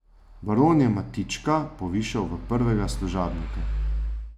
Baron je Matička povišal v prvega služabnika.